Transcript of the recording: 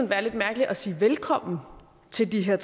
være lidt mærkeligt at sige velkommen til de her